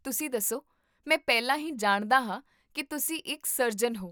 ਤੁਸੀਂ ਦੱਸੋ, ਮੈਂ ਪਹਿਲਾਂ ਹੀ ਜਾਣਦਾ ਹਾਂ ਕੀ ਤੁਸੀਂ ਇੱਕ ਸਰਜਨ ਹੋ